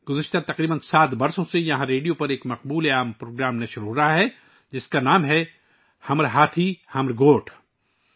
گذشتہ تقریباً 7 سال سے یہاں ریڈیو پر ایک مقبول پروگرام نشر کیا جا رہا ہے جس کا نام 'ہمار ہاتھی ہمار گوٹھ' ہے